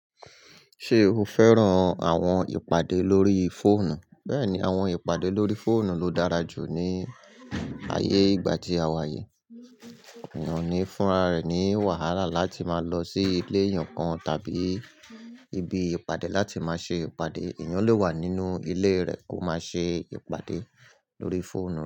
Ṣé o fẹ́ràn àwọn ìpàdé lórí fóònù? Bẹ́ẹ̀ni, àwọn ìpàdé lórí fóònù ló dára jù ní ayé ìgbà tí a wà yìí. Èèyàn ò ní fúnra rẹ̀ ní wàhálà láti máa lọ sí ilé ẹyọkan tàbí ibi ìpàdé láti máa ṣe ìpàdé. Ẹ̀yàn lè wà nínú ilé rẹ̀, kó máa ṣe ìpàdé lórí fóònù.